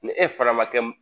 Ni e fana ma kɛ m